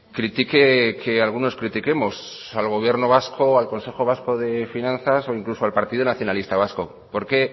critique que algunos critiquemos al gobierno vasco al consejo vasco de finanzas o incluso al partido nacionalista vasco por qué